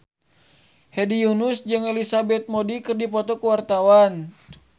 Hedi Yunus jeung Elizabeth Moody keur dipoto ku wartawan